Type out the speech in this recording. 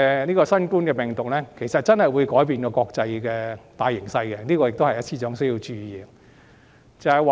其實，新型冠狀病毒真的會改變國際大形勢，這是司長需要注意的。